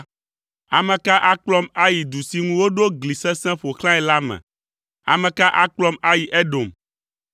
Ame ka akplɔm ayi du si ŋu woɖo gli sesẽ ƒo xlãe la me? Ame ka akplɔm ayi Edom?